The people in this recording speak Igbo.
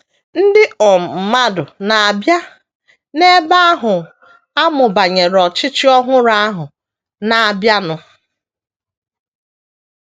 Ndị um mmadụ na - abịa n’ebe ahụ amụ banyere ọchịchị ọhụrụ ahụ na - abịanụ.